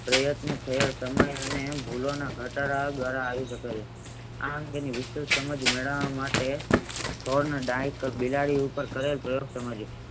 પ્રયત્ન છે તમે એને ભૂલોના ઘટાડા દ્વારા આવી શકે છે આમ તેની વિશેષ સમાજ મેળવા માટે ઘરને બાહ્યક બિલાડી ઉપ્પર